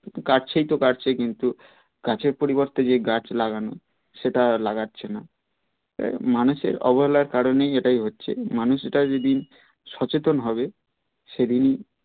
গাছ কেই তো কাটছে কিন্তু গাছের পরিবর্তে যে গাছ লাগানো সেটা লাগছে না এ মানুষের অবহেলার কারণেই এটাই হচ্ছে মানুষ এটাই যেদিন সচেতন হবে সেদিন